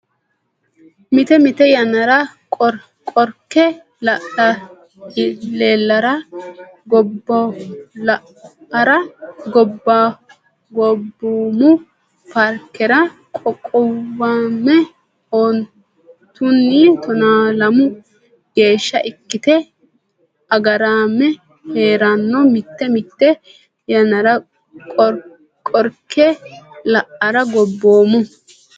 Mite mite yannara Qorke Ilaallara Gobboomu Paarkera qoqqowame ontunni tonaalamu geeshsha ikkite agarame hee ranno Mite mite yannara Qorke Ilaallara Gobboomu.